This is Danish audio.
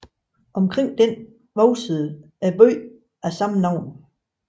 Omkring den voksede byen af samme navn